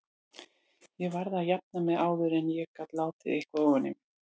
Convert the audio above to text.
Ég varð að jafna mig áður en ég gat látið eitthvað ofan í mig.